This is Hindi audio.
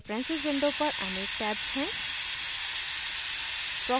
preferences window पर अनेक tabs हैं